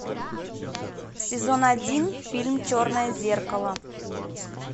сезон один фильм черное зеркало